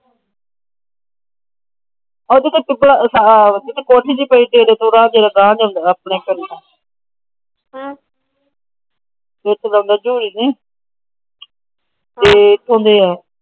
ਉਹ ਜਿੱਥੇ ਕੋਠੀ ਜਿਹੀ ਪਈ ਏ ਡੇਰੇ ਤੋਂ ਓਰਾ